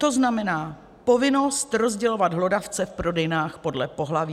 To znamená povinnost rozdělovat hlodavce v prodejnách podle pohlaví.